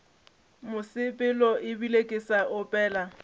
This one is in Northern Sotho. mosepelo ebile ke sa opela